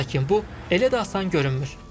Lakin bu elə də asan görünmür.